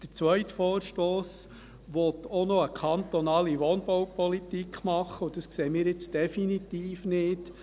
Der zweite Vorstoss will auch noch eine kantonale Wohnbaupolitik machen, und dies sehen wir nun definitiv nicht.